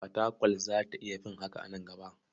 Fatakwal za ta iya fin haka a nan gaba.